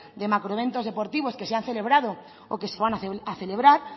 de macroeventos deportivos que se han celebrado o que se van a celebrar